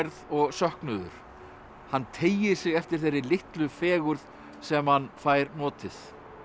og söknuður hann teygir sig eftir þeirri litlu fegurð sem hann fær notið